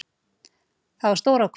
Það var stór ákvörðun.